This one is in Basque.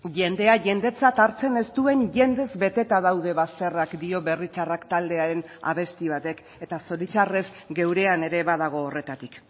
jendea jendetzat hartzen ez duen jendez beteta daude bazterrak dio berri txarrak taldearen abesti batek eta zoritxarrez geurean ere badago horretatik